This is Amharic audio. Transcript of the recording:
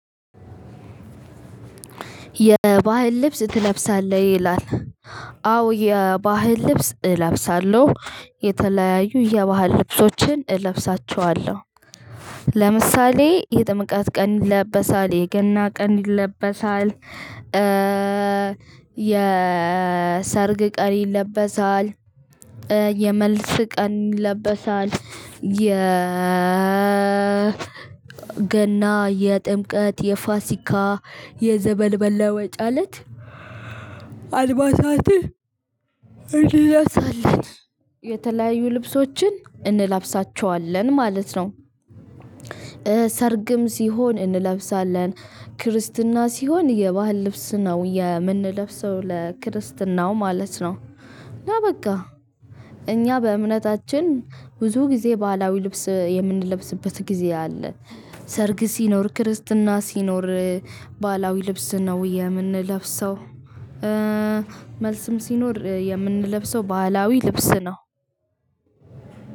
የባህል ልብስ ትለብሳለህ? ይላል። አዎ የባህል ልብስ እለብሳለሁ የተለያዩ የባህል ልብሶችን እለብሳቸዋለሁ። ለምሳሌ የጥምቀት ቀን ይለበሳል የገና ቀን ይለበሳል። የሰርግ ቀን ይለበሳል። የመልስ ቀን ይለበሳል። የ ገና፣ የጥምቀት፣ የፋሲካ የዘመን መለወጫ እለት አልባሳትን እንለብሳለን። የተለያዩ ልብሶችን እንላብሳቸዋለን ማለት ነው። ሰርግም ሲሆን እንለብሳለን። ክርስትና ሲሆን የባህል ልብስ ነው የምንለብሰው ለክርስትናው ማለት ነው። እና በቃ እኛ በእምነታችን ብዙ ጊዜ ባህላዊ ልብስ የምንለብስበት ጊዜ አለ። ሰርግ ሲኖር ክርስትና ሲኖር ባህላዊ ልብስ ነው የምንለብሰው። መልስም ሲኖር የምንለብሰው ባህላዊ ልብስ ነው።